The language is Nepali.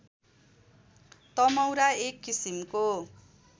तमौरा एक किसिमको